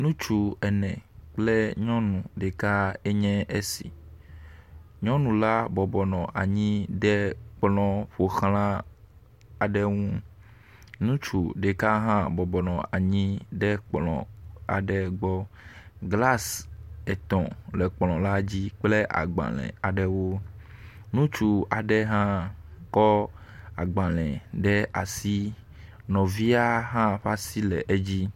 Nutsu ene kple nyɔnu ɖeka enye esi, nuɔnu la bɔbɔnɔ anyi ɖe kplɔ̃ ƒoʋla aɖe ŋu. Nutsu ɖeka hã bɔbɔnɔ anyi ɖe kplɔ̃ aɖe gbɔ, “glass” etɔ̃ le kplɔ̃ la dzi kple agbalẽ aɖewo. Nutsu aɖe hã kɔ agbalẽ ɖe asi, nɔvia hã ƒa si le edzi.